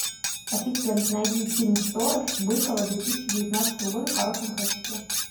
ассистент найди фильм сторож быкова две тысячи девятнадцатого года в хорошем качестве